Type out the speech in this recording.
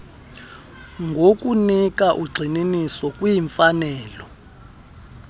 ngokunika ugxininiso kwimfanelo